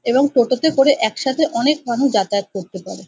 এবং টোটোতে করে একসাথে অনেক মানুষ যাতায়াত করতে পারে।